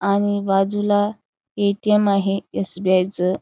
आणि बाजूला A. T. M. आहे एस. बी. आय. च.